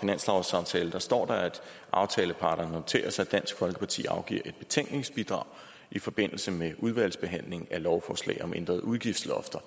finanslovsaftale står der at aftaleparterne noterer sig at dansk folkeparti afgiver et betænkningsbidrag i forbindelse med udvalgsbehandlingen af lovforslag om ændrede udgiftslofter